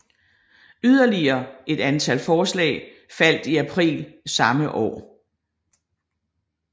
Yderligere et andet forslag faldt i april samme år